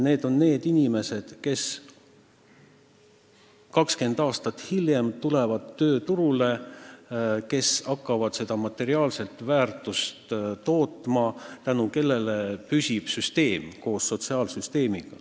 Need on inimesed, kes 20 aasta pärast tulevad tööturule, kes hakkavad materiaalseid väärtusi tootma, tänu kellele püsib sotsiaalsüsteem.